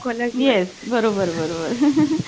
yes बरोबर बरोबर